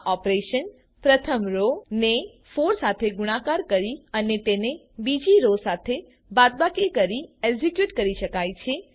આ ઓપરેશન પ્રથમ રો ને 4 સાથે ગુણાકાર કરી અને તેને બીજી રો સાથે બાદબાકી કરી એક્ઝીક્યુટ કરી શકાય છે